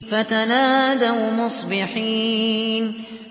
فَتَنَادَوْا مُصْبِحِينَ